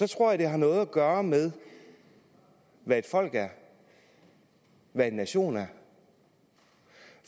tror jeg det har noget at gøre med hvad et folk er hvad en nation er